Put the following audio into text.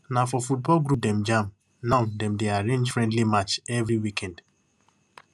na for football group dem jam and now dem dey arrange friendly match every weekend